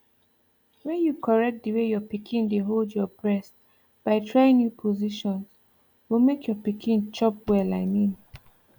when you correct the way your pikin dey hold your breast by trying new positions go make your pikin chop well i mean